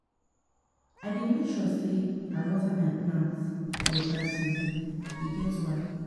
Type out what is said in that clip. I dey make sure sey I water my plants for dry season, e get why.